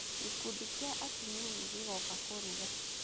Gĩkundi kĩa atumia nĩ gĩgoka kũruga.